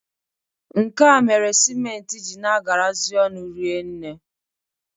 Nke a mere siment ji na-agarazị ọnụ rienne.